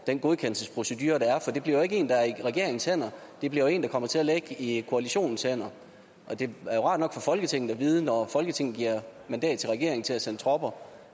den godkendelsesprocedure der er for det bliver jo ikke en der er i regeringens hænder det bliver en der kommer til at ligge i koalitionens hænder det er jo rart nok for folketinget at vide at når folketinget giver mandat til regeringen til at sende tropper